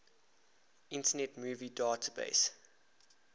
internet movie database